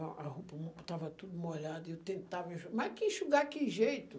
a a roupa mo estava tudo molhada e eu tentava enxugar, mas que enxugar, que jeito?